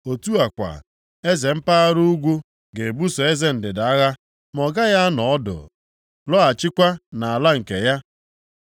Otu a kwa, eze mpaghara ugwu ga-ebuso eze ndịda agha, ma ọ gaghị anọ ọdụ lọghachikwa nʼala nke ya.